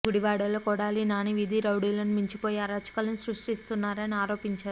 గుడివాడలో కొడాలి నాని వీధి రౌడీలను మించిపోయి అరాచకాలు సృష్టిస్తున్నారని ఆరోపించారు